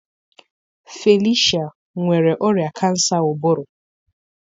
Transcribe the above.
Felicia nwere ọrịa kansa ụbụrụ.